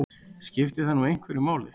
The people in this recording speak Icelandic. Skiptir það nú einhverju máli?